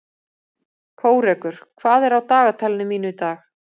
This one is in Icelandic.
Kórekur, hvað er á dagatalinu mínu í dag?